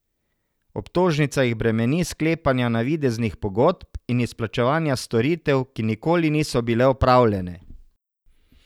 Obtožnica jih bremeni sklepanja navideznih pogodb in izplačevanja storitev, ki nikoli niso bile opravljene.